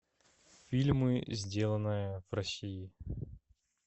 фильмы сделанные в россии